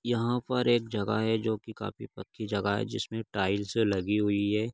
यहाँ पर एक जगह है जो की काफी पक्की जगह है जिसमे टाईल्सए लगी हुई है।